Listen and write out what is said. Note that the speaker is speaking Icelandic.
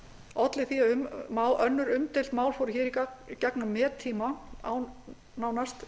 olli því að önnur umdeild mál fóru í gegn á mettíma án nánast